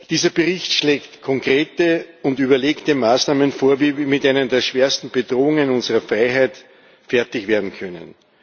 Dieser Bericht schlägt konkrete und überlegte Maßnahmen vor, wie wir mit einer der schwersten Bedrohungen unserer Freiheit fertig werden können.